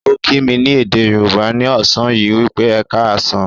Ó kí mí ní èdè Yorùbá ni ọ̀sán yìí wípé "Ẹ ká á sàn".